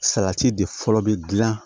Salati de fɔlɔ bi dilan